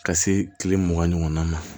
Ka se kile mugan ɲɔgɔn ma